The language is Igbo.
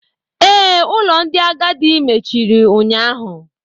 Ee, ụlọ ndị agadi mechiri unyaahụ